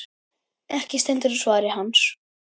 Ekki stendur á svari hans.